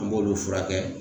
An b'olu furakɛ.